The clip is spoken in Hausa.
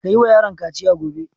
Ka yi wa yaron kaciya gobe!